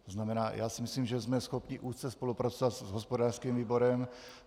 To znamená, já si myslím, že jsme schopni úzce spolupracovat s hospodářským výborem.